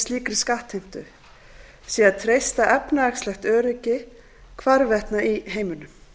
slíkri skattheimtu sé að treysta efnahagslegt öryggi hvarvetna í heiminum